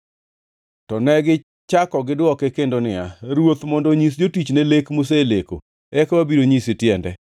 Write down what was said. To negichako gidwoke kendo niya, “Ruoth mondo onyis jotichne lek moseleko, eka wabiro nyise tiende.”